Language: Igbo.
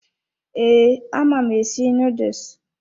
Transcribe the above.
Ee, ama m esi nuduls.